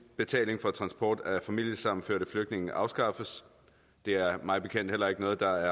betaling for transport af familiesammenførte flygtninge afskaffes det er mig bekendt heller ikke noget der